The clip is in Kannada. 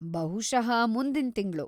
ಬಹುಷಃ ಮುಂದಿನ್ ತಿಂಗ್ಳು.